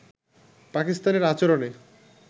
পাকিস্তানের আচরণে